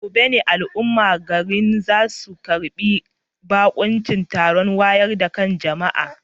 A gobe ne al'ummar garin za su karbi bakuncin taron wayar da kan jama'a.